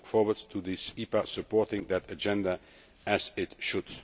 We look forward to this EPA supporting that agenda, as it should.